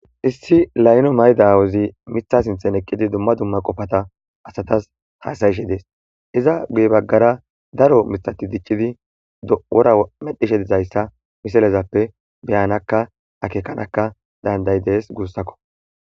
issi layno maydawozi mitha sinthen eqqidi dumma dumma qofata asatas haasayishe dees iza guye baggara daro mitati dicidi woramedhishe dizayssa misalezappe beyanakka akeekanakka dandayi dees guussakko